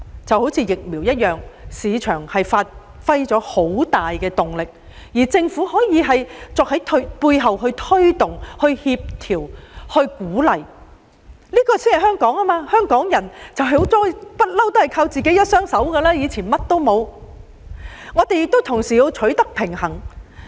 正如疫苗，市場發揮了很大作用，政府可以在背後推動、協調和鼓勵，這才是香港的本色，因香港人一向都是倚靠自己的一雙手，從以前一無所有時已是如此。